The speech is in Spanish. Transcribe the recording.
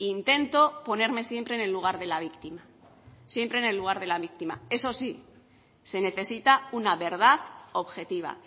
intento ponerme siempre en el lugar de la víctima siempre en el lugar de la víctima eso sí se necesita una verdad objetiva